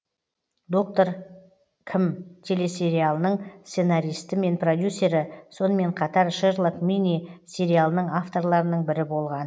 доктор кім телесериалының сценаристі мен продюсері сонымен қатар шерлок мини сериалының авторларының бірі болған